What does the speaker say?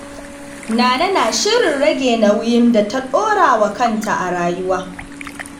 Nana na shirin rage nauyin da ta ɗora wa kanta a rayuwa.